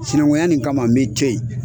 Sinankunya nin kama n bɛ e to yen.